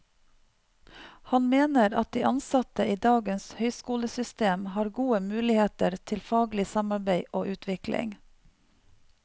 Han mener at de ansatte i dagens høyskolesystem har gode muligheter til faglig samarbeid og utvikling.